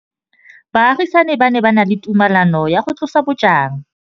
Baagisani ba ne ba na le tumalanô ya go tlosa bojang.